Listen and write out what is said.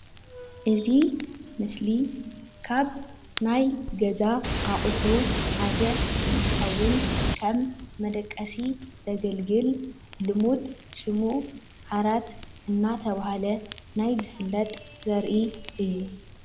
እዚ ምስሊ ካብ ናይ ገዛ አቁሑ ሓደ እንትከውን ከም መደቀሲ ዘገልግል ልሙድ ሽሙ ድማ ዓራት እንዳተባሃለ ናይ ዘፍለጥ ዘርኢ እዩ ፡፡